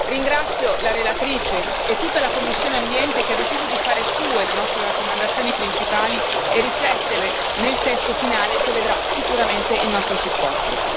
Ringrazio la relatrice e tutta la commissione per l'ambiente, che hanno deciso di fare proprie le nostre raccomandazioni principali e di rifletterle nel testo finale che vedrà sicuramente il nostro supporto.